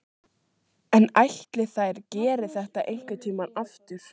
En ætli þær geri þetta einhvern tímann aftur?